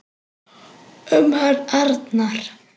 Um hann Arnar.